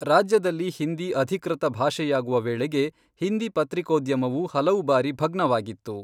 ರಾಜ್ಯದಲ್ಲಿ ಹಿಂದಿ ಅಧಿಕೃತ ಭಾಷೆಯಾಗುವ ವೇಳೆಗೆ ಹಿಂದಿ ಪತ್ರಿಕೋದ್ಯಮವು ಹಲವು ಬಾರಿ ಭಗ್ನವಾಗಿತ್ತು.